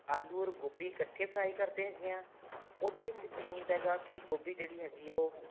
ਆਲੂ or ਗੋਭੀ ਇੱਕਠੇ fry ਕਰਦੇ ਹੈਗੇ ਹਾਂ ਉਹਦੇ ਵਿੱਚ ਕਿ ਹੁੰਦਾ ਕੀ ਗੋਭੀ ਜਿਹੜੀ ਹੈਗੀ ਉਹ